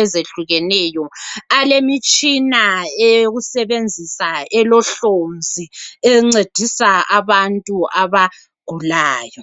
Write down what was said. ezehlukeneyo alemitshina eyokusebenzisa elohlonzi engcedisa abantu abagulayo